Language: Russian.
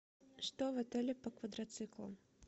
что в отеле по квадроциклам